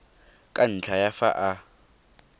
ka ntlha ya fa a